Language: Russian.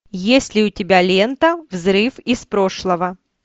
есть ли у тебя лента взрыв из прошлого